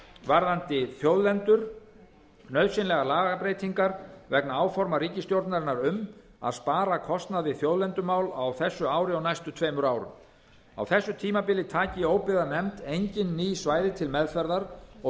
varðandi þjóðlendur nauðsynlegar lagabreytingar vegna áforma ríkisstjórnarinnar um að spara kostnað við þjóðlendumál á þessu ári og næstu tveimur árum á þessu tímabili taki óbyggðanefnd engin ný svæði til meðferðar og